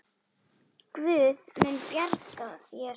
Guð mun bjarga þér.